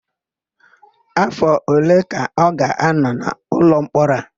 Áfọ̀ ole ka ọ ga-ánọ̀ n'ụlọmkpọrọ a?